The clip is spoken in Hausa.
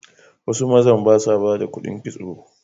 Wasu mazan ba sa ba da kuɗin kitso.